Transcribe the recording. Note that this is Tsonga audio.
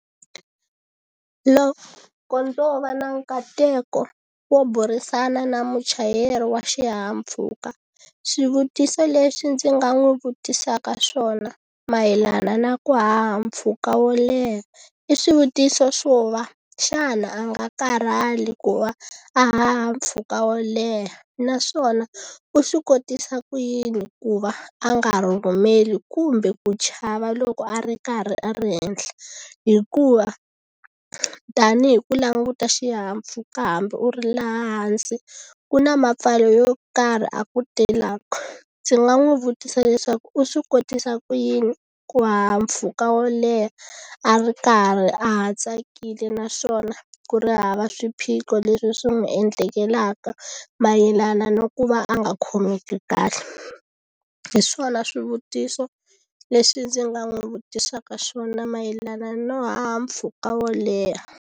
Loko ndzo va na nkateko wo burisana na muchayeri wa xihahampfhuka swivutiso leswi ndzi nga n'wi vutisaka swona mayelana na ku haha mpfhuka wo leha i swivutiso swo va xana a nga karhali ku va a haha mpfhuka wo leha naswona u swi kotisa ku yini ku va a nga rhurhumeli kumbe ku chava loko a ri karhi a ri henhla hikuva tanihi ku languta xihahampfhuka hambi u ri laha hansi ku na mapfalo yo karhi ya ku telaku ndzi nga n'wi vutisa leswaku u swi kotisa ku yini ku haha mpfhuka wo leha a ri karhi a ha tsakile naswona ku ri hava swiphiqo leswi swi n'wi endlekelaka mayelana no ku va a nga khomeki kahle hi swona swivutiso leswi ndzi nga n'wi vutisaka swona mayelana no haha mpfhuka wo leha.